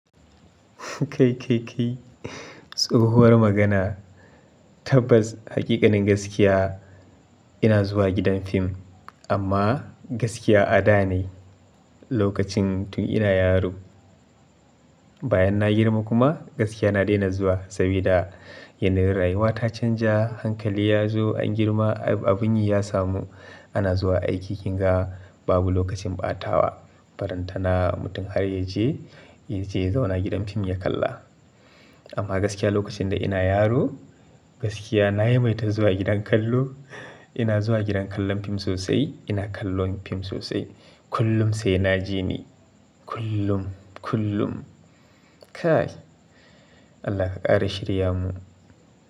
Kai, kai, kai. Tsohuwar magana. Tabbas, hakikanin gaskiya. Ina zuwa gidan fim amma gaskiya a da ne lokacin tun ina yaro. Bayan na girma kuma gaskiya na daina zuwa saboda yanayin rayuwa ta canja, hankali ya zo an girma, abun yi ya samu. Ana zuwa aiki kinga babu lokacin ɓatawa. Faranta na mutum har yaje, yaje zauna gidan fim ya kalla. Amma gaskiya lokacin da ina yaro, gaskiya na yimaita zuwa gidan kallo. Ina zuwa gidan kallon fim sosai, ina kallon fim sosai. Kullum sai na je ni. Kullum, kullum. Kai. Allah ka ƙare shirya mu.